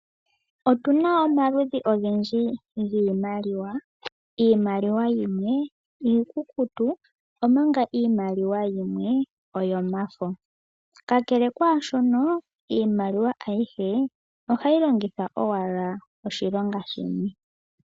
Otuna omaludhi ogendji giimaliwa. Iimaliwa yimwe iikukutu omanga iimaliwa yimwe oyomafo, ka kele kwaashono iimaliwa ayihe ohayi longithwa owala oshilonga shimwe.